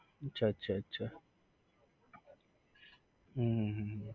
અચ્છા અચ્છા અચ્છા હમ હમ હમ